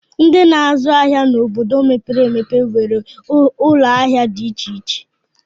Ndị na-azụ ahịa n'obodo mepere emepe nwere ụlọahịa dị iche iche